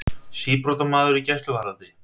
Síbrotamaður í gæsluvarðhaldi